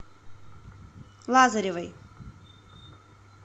лазаревой